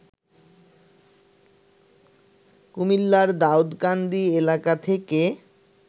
কুমিল্লার দাউকান্দি এলাকা থেকে